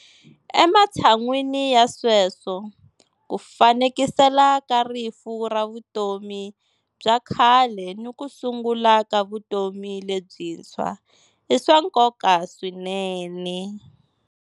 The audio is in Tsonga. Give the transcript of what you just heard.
Ematshan'weni ya sweswo, ku fanekisela ka rifu ra vutomi bya khale ni ku sungula ka vutomi lebyintshwa i swa nkoka swinene.